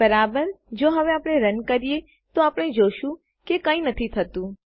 બરાબરજો હવે આ રન કરીએ તો આપણે જોશું કે કંઈ નથી થતું